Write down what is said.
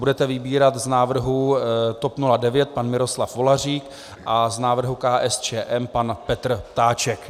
Budete vybírat z návrhů TOP 09 - pan Miroslav Volařík a z návrhu KSČM - pan Petr Ptáček.